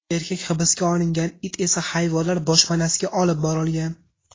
Erkak hibsga olingan, it esa hayvonlar boshpanasiga olib borilgan.